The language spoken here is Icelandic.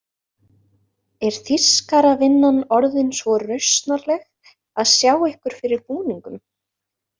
Er þýskaravinnan orðin svo rausnarleg að sjá ykkur fyrir búningum?